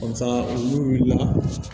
n'u wulila